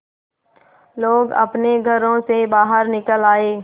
लोग अपने घरों से बाहर निकल आए